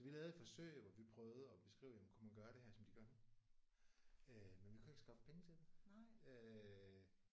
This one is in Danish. Så vi lavede et forsøg hvor vi prøvede at beskrive jamen kunne man gøre det her som de gør men vi kunne ikke skaffe penge til det